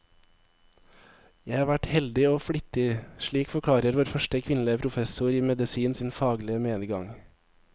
Jeg har vært heldig og flittig, slik forklarer vår første kvinnelige professor i medisin sin faglige medgang.